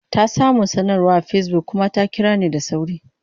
Ta samu sanarwa a Facebook kuma ta kira ni da sauri.